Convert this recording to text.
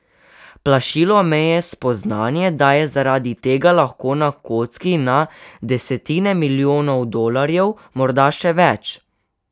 Plašilo me je spoznanje, da je zaradi tega lahko na kocki na desetine milijonov dolarjev, morda še več.